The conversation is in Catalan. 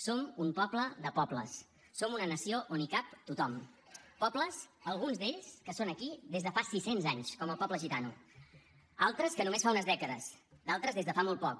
som un poble de pobles som una nació on hi cap tothom pobles alguns d’ells que són aquí des de fa sis cents anys com el poble gitano altres que només fa unes dècades d’altres des de fa molt poc